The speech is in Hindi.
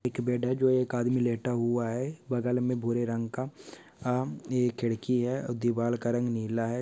एक बेड है जो एक आदमी लेटा हुआ है। बगल में भूरे रंग का आ एक खिड़की है और दीवाल का रंग नीला है।